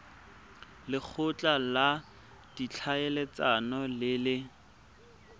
lekgotla la ditlhaeletsano le le